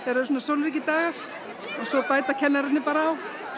eru svona sólríkir dagar ogsvo bæta kennararnir bara á